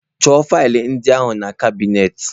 Chọọ faịlụ ndị ahụ na kabinetị.